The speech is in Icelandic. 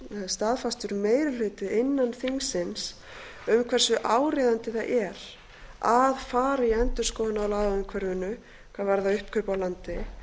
staðfastur meiri hluti innan þingsins um hversu áríðandi það er að fara í endurskoðun á lagaumhverfinu hvað varðar uppkaup á landi